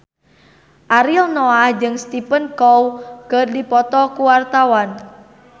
Ariel Noah jeung Stephen Chow keur dipoto ku wartawan